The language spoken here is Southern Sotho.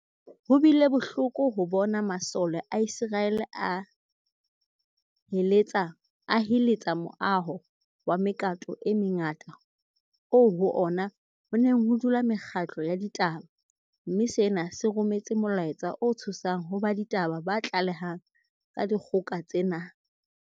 Ho bile bohloko ho bona masole a Iseraele a heletsa moaho wa mekato e mengata oo ho ona ho neng ho dula mekgatlo ya ditaba, mme sena se rometse molaetsa o tshosang ho ba ditaba ba tlalehang ka dikgoka tsena.